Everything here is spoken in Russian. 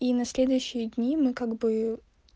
и на следующие дни мы как бы